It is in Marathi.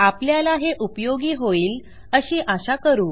आपल्याला हे उपयोगी होईल अशी आशा करू